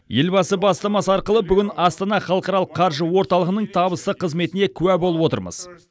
елбасы бастамасы арқылы бүгін астана халықаралық қаржы орталығының табысты қызметіне куә болып отырмыз